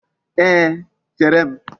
Ee, chere m.